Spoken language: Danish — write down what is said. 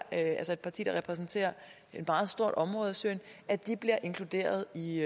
er et parti der repræsenterer et meget stort område syrien bliver inkluderet i